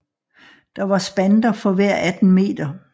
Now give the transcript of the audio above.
Der var spanter for hver 18 m